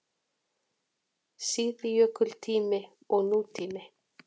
SÍÐJÖKULTÍMI OG NÚTÍMI